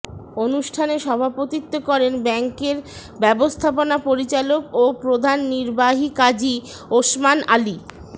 অনুষ্ঠানে সভাপতিত্ব করেন ব্যাংকের ব্যবস্থাপনা পরিচালক ও প্রধান নির্বাহী কাজী ওসমান আলী